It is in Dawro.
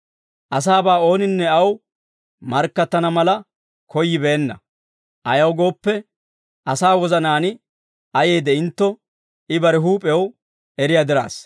Asaabaa ooninne aw markkattana mala koyyibeenna; ayaw gooppe, asaa wozanaan ayee de'intto, I bare huup'ew eriyaa diraassa.